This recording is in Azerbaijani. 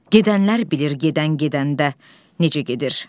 Gedənlər bilir gedən gedəndə necə gedir.